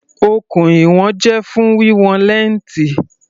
Okùn ìwọ̀n jẹ́ fún wíwọn lẹ́ǹtì.